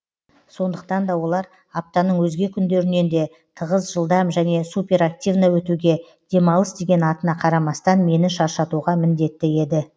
сондықтан да олар аптаның өзге күндерінен де тығыз жылдам және суперактивно өтуге демалыс деген атына қарамастан мені шаршатуға міңдетті еді